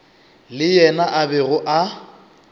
le yena a bego a